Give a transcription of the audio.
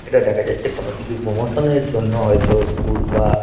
এটা দেখা যাচ্ছে কোন কিছু প্রমোশন -এর জন্য হয়তো স্কুল বা--